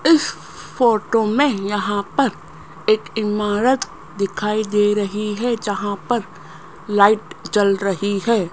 इस फोटो में यहां पर एक इमारत दिखाई दे रही है जहां पर लाइट जल रही है।